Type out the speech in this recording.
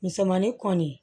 Misɛnmanin kɔni